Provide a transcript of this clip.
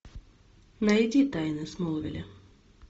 найди тайны смолвиля